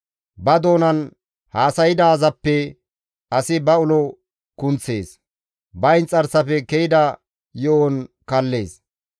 Ba doonan haasaydaazappe asi ba ulo kunththees; ba inxarsafe ke7ida yo7on kallees.